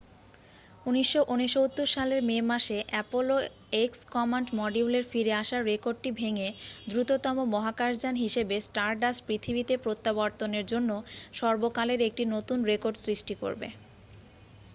1969 সালের মে মাসে অ্যাপোলো এক্স কমান্ড মডিউলের ফিরে আসার রেকর্ডটি ভেঙে দ্রুততম মহাকাশযান হিসাবে স্টারডাস্ট পৃথিবীতে প্রত্যাবর্তনের জন্য সর্বকালের একটি নতুন রেকর্ড সৃষ্টি করবে